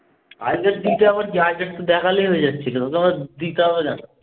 I card দিতে আবার একটু দেখালেই হয়ে যাচ্ছিল। আবার দিতে হবে না তো।